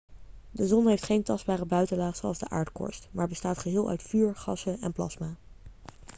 de zon heeft geen tastbare buitenlaag zoals de aardkorst maar bestaat geheel uit vuur gassen en plasma